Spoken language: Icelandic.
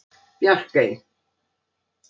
Bjarkey